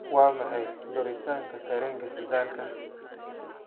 Waa maxay duritaanka tareenka shidaalka?